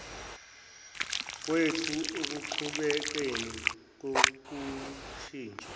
kwethu ekuqhubekeni kokushintsha